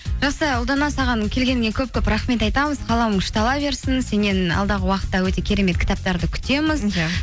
жақсы ұлдана саған келгеніңе көп көп рахмет айтамыз қаламың ұштала берсін сеннен алдағы уақытта өте керемет кітаптарды күтеміз иә